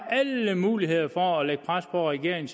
alle muligheder for at lægge pres på regeringen